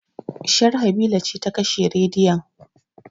Sharhabila ce ta kashe rediyon